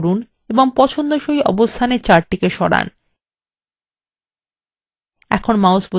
click করুন এবং পছন্দসই অবস্থানে chart সরান এখন mouse বোতাম ছেরে দিন